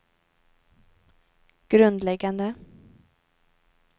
grundläggande